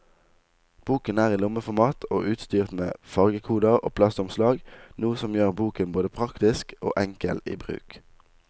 Boken er i lommeformat og utstyrt med fargekoder og plastomslag, noe som gjør boken både praktisk og enkel i bruk.